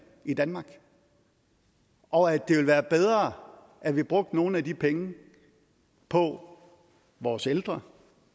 i danmark og at det ville være bedre at vi brugte nogle af de penge på vores ældre